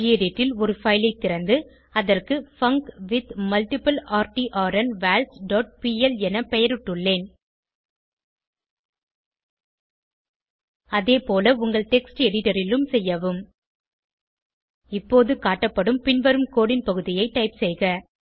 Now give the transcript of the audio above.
gedit ல் ஒரு file ஐ திறந்து அதற்கு பங்க்வித்மல்டிப்ளர்ட்ன்வால்ஸ் டாட் பிஎல் என பெயரிட்டுள்ளேன் அதேபோல உங்கள் டெக்ஸ்ட் எடிட்டர் லும் செய்யவும் இப்போது காட்டப்படும் பின்வரும் கோடு ன் பகுதியை டைப் செய்க